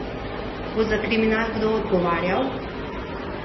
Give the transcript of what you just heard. Bo za kriminal kdo odgovarjal?